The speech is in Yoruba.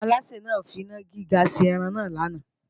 Alásè náà ń finá gíga ṣe ẹran náà lánàá